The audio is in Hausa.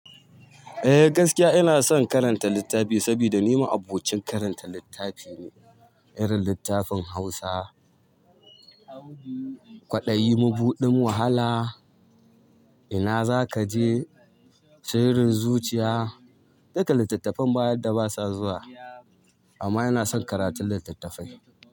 Eh gaskiya ina son karanta littafi saboda ni ma abokin karanta littafi ne, irin littafin Hausa, Kwadayi Mubuɗin Wahala, ina zaka je, Shirin Zuchiya duka littattafan bayadda ba sa zuwa amma ina son karatun littattafai.